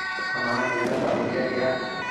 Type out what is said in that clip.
Amaa, iyatata oldia tiang'?